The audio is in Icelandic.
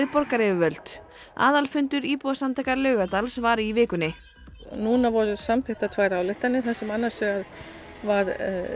borgaryfirvöld aðalfundur íbúasamtaka Laugardals var í vikunni núna voru samþykktar tvær ályktanir þar sem annars vegar var